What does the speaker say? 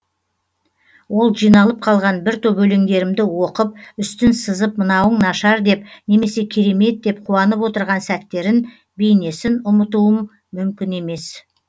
ол жиналып қалған бір топ өлеңдерімді оқып үстін сызып мынауың нашар деп немесе керемет деп қуанып отырған сәттерін бейнесін ұмытуым мүмкін емес